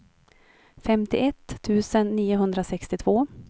femtioett tusen niohundrasextiotvå